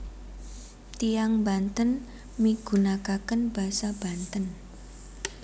Tiyang Banten migunakaken basa Banten